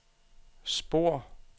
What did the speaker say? spor